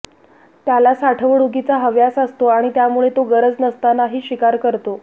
त्याला साठवणुकीचा हव्यास असतो आणि त्यामुळे तो गरज नसतानाही शिकार करतो